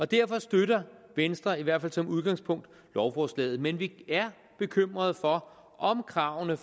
derfor støtter venstre i hvert fald som udgangspunkt lovforslaget men vi er bekymrede for om kravene